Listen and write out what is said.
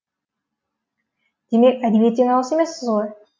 демек әдебиеттен алыс емессіз ғой